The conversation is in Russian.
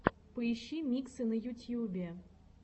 поищи миксы на ютьюбе